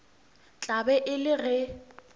tla be e le ge